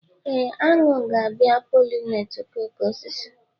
Ee, aṅụ ga-abịa pollinate okooko osisi.